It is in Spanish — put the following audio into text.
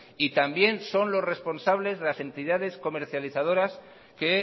y también son los responsables las entidades comercializadoras que